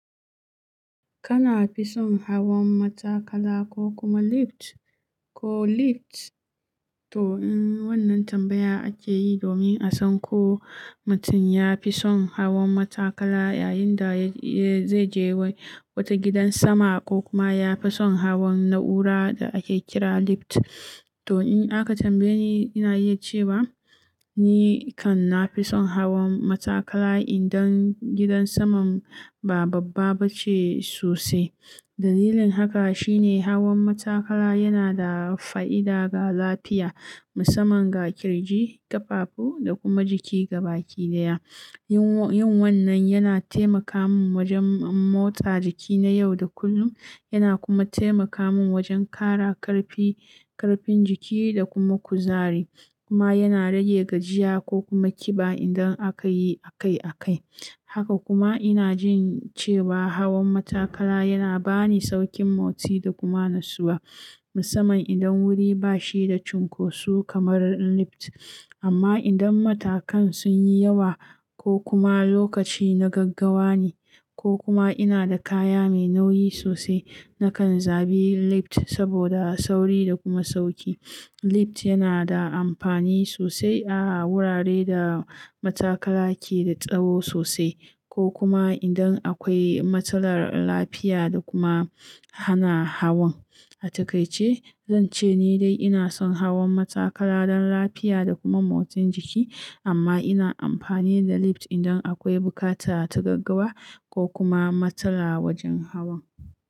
Kana fi son hawan matakala ko kuma lift? Ko lift? To in wannan tambaya ake yi domin a san ko mutum ya fi son hawan matakala yayin da zai je wata gidan sama ko kuma ya fi son hawan na'ura da ake kira lift. To in aka tambaye ni, ina iya cewa ni kan na fi son hawan matakala idan gidan saman ba babba ba ce sosai. Dalilin haka shine hawan matakala yana da fa'ida ga lafiya, musamman ga ƙirji, ƙafafu da kuma jiki gaba ɗaya. Yin wannan yana taimaka min wajen motsa jiki na yau da kullum, yana kuma taimaka min wajen ƙara ƙarfi, ƙarfin jiki da kuma kuzari, kuma yana rage gajiya ko kuma ƙiba idan aka yi akai akai. Haka kuma ina jin cewa hawan matakala yana ba ni sauƙin motsi da kuma natsuwa, musamman idan wuri ba shi da cunkoso kamar lift. Amma idan matakan sun yi yawa ko kuma lokaci na gaggawa ne ko kuma ina da kaya mai nauyi sosai, na kan zaɓi lift saboda sauri da kuma sauƙi. Lift yana da amfani sosai a wurare da matakala ke da tsawo sosai ko kuma idan akwai matsalar lafiya da kuma hana hawan. A takaice, zan ce ni dai ina son hawan matakala don lafiya da kuma motsin jiki, amma ina amfani da lift idan akwai buƙata ta gaggawa ko kuma matsala wajen hawan.